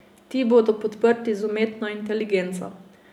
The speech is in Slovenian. Ti bodo podprti z umetno inteligenco.